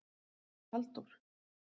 Halldór